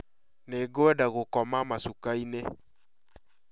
Nĩngwenda gũkoma macuka-inĩ